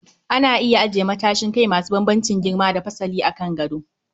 Ana iya ajiye matsashin kai masu bambamcin girma da fasai a kan gado